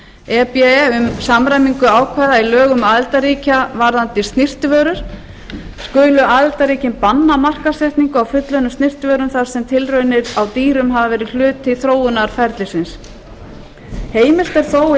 e b e um samræmingu ákvæða í lögum aðildarríkja varðandi snyrtivörur skulu aðildarríkin banna markaðssetningu á fullunnum snyrtivörum þar sem tilraunir á dýrum hafa verið hluti þróunarferilsins heimilt er þó í